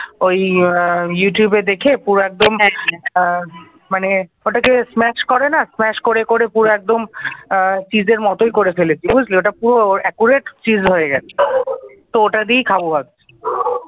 ওই ইউটিউবে দেখে পুরো একদম মানে ওটাকে ইসম্যাচ করে না ইসম্যাচ করে করে পুরো একদম cheese র মতই করে ফেলেছি বুঝলি তো ওটা পুরো accurate cheese হয়ে গেছে বুঝলি তো ওটা দিয়েই খাওয়া ভাবছি।